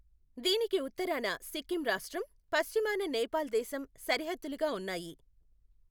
దీనికి ఉత్తరాన సిక్కిం రాష్ట్రం, పశ్చిమాన నేపాల్ దేశం సరిహద్దులుగా ఉన్నాయి.